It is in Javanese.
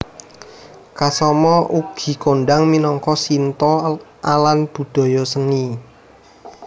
Kasama ugi kondhang minangka Shinto alan budaya seni